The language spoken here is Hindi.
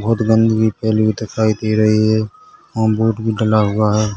बहुत गंदगी फैली हुई दिखाई दे रही है और बोर्ड भी डला हुआ है।